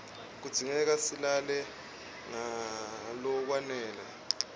kudzingeka silale ngalokwanele